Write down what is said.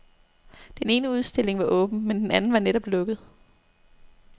Den ene udstilling var åben, men den anden var netop lukket.